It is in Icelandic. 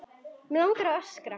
Mig langar að öskra.